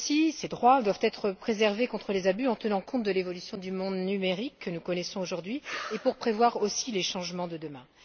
Ces droits doivent être préservés contre les abus en tenant compte de l'évolution du monde numérique que nous connaissons aujourd'hui et pour prévoir aussi les changements de demain.